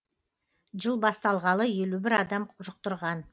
жыл басталғалы елу бір адам жұқтырған